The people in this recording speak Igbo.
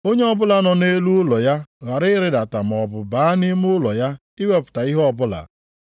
Onye ọbụla nọ nʼelu ụlọ ya ghara ịrịdata maọbụ baa nʼime ụlọ ya iwepụta ihe ọbụla.